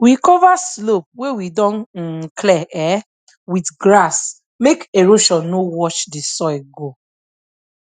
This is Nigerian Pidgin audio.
we cover slope wey we don um clear um with grass make erosion no wash the soil go